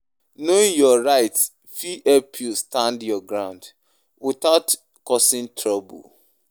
Knowing your rights fit help you stand your ground without causing trouble.